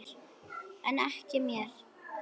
En ekki mér.